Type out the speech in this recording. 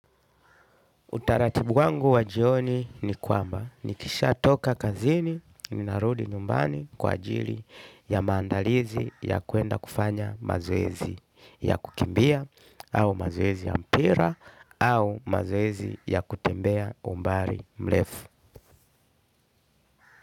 Utaratibu wangu wa jioni ni kwamba. Nikishatoka kazini ninarudi nyumbani kwa ajili ya maandalizi ya kuenda kufanya mazoezi ya kukimbia au mazoezi ya mpira au au mazoezi ya kutembea umbali mrefu.